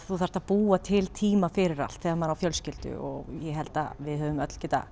þú þarft að búa til tíma fyrir allt þegar maður á fjölskyldu og ég held við höfum öll getað